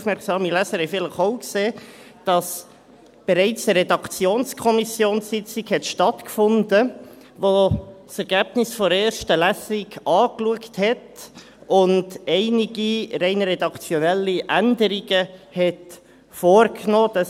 Aufmerksame Leser haben vielleicht auch gesehen, dass bereits eine Redaktionskommissionssitzung stattgefunden hat, wo das Ergebnis der ersten Lesung angeschaut wurde und einige rein redaktionelle Änderungen vorgenommen wurden.